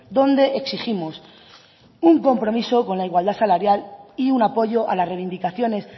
donde exigimos un compromiso con la igualdad salarial y un apoyo a las reivindicaciones